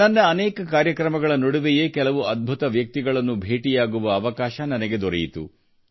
ನನ್ನ ಅನೇಕ ಕಾರ್ಯಕ್ರಮಗಳ ನಡುವೆಯೇ ಕೆಲವು ಅದ್ಭುತ ವ್ಯಕ್ತಿಗಳನ್ನು ಭೇಟಿಯಾಗುವ ಅವಕಾಶ ನನಗೆ ದೊರೆಯಿತು